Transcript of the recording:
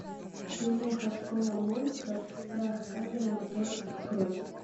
киноха школа монстров страх камера мотор открой